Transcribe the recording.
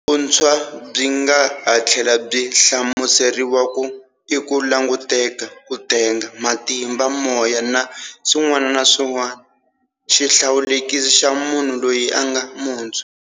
Vuntshwa byi nga ha tlhela byi hlamuseriwa ku i"ku languteka, ku tenga, matimba, moya, na swin'wana na swin'wna, xihlawulekisi xa munhu, loyi a nga muntshwa".